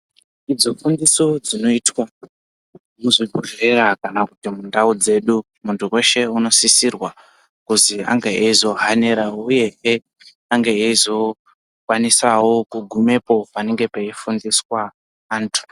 Idzo fundiso dzinoizwa muzvibhedhlera kana kuti mundau dzedu muntu weshe anozosisirwa kuti ange eizohanirawo kana kuti azokwanisawo kugumepo panenge peifundiswa antu.